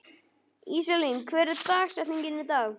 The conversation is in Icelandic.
Íselín, hver er dagsetningin í dag?